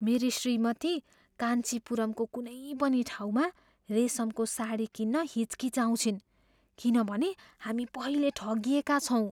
मेरी श्रीमती कान्चीपुरमको कुनै पनि ठाउँमा रेसमको साडी किन्न हिचकिचाउँछिन् किनभने हामी पहिले ठगिएका छौँ।